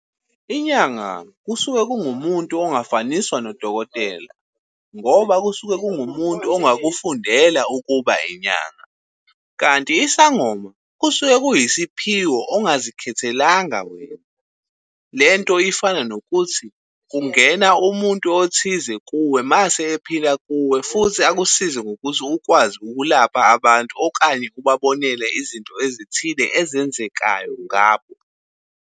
Inyanga kusuke kungumuntu ongafaniswa nodokotela, ngoba kusuke kungumuntu ongakufundela ukuba inyanga. Kanti isangoma kusuke kuyisiphiwo ongazikhethelanga wena. Lento ifana nokuthi, kungena umuntu othize kuwe mase ephila kuwe, futhi akusize ngokuthi ukwazi ukulapha abantu okanye ubabonele izinto ezithile ezenzekayo ngabo.